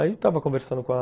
Aí estava conversando com a...